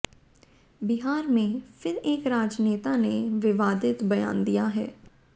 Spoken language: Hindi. बिहार में फिर एक राजनेता ने विवादित बयान दिया है